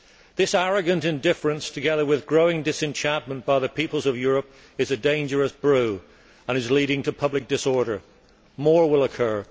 This arrogant indifference, together with growing disenchantment by the peoples of Europe, is a dangerous brew and is leading to public disorder. More will occur.